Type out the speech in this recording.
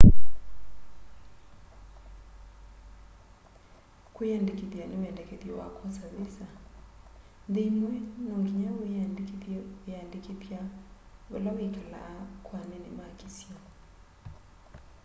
kwĩyandĩkĩthya nĩ wendekethyo wa kwosa vĩsa nthĩ ĩmwe nongĩnya wĩyĩandĩkĩthye wĩyandĩkĩthya vala wĩkalaa kwa anene ma kĩsio